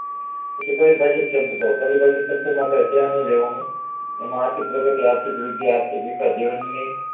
પછી પરિભાષીક શબ્દો પરિભાષીક શબ્દો માં કાય છે નય લેવાનું એમાં આર્થિક પ્રગતિ આર્થિકવૃદ્ધિ આર્થિકવિકાસ જીવનની